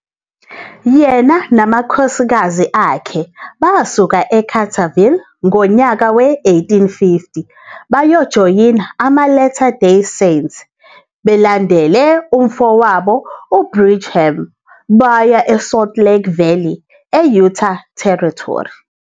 Yena namakhosikazi akhe basuka eCarterville ngonyaka we-1850 bayojoyina amaLatter Day Saints abalandele umfowabo uBrigham baya eSalt Lake Valley e- Utah Territory.